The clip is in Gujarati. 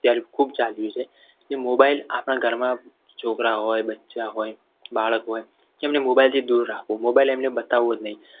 અત્યારે ખૂબ ચાલી રહ્યું છે. એ mobile આપણા ઘરમાં છોકરા હોય બચ્ચા હોય બાળક હોય. એમને mobile થી દૂર રાખો mobile એમને બતાવવો જ નહીં.